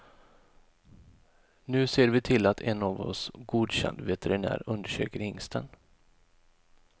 Nu ser vi till att en av oss godkänd veterinär undersöker hingsten.